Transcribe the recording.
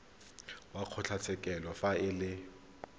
wa kgotlatshekelo fa e le